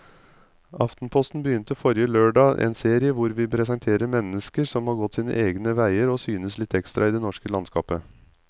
Aftenposten begynte forrige lørdag en serie hvor vi presenterer mennesker som har gått sine egne veier og synes litt ekstra i det norske landskapet.